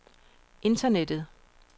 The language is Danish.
internettet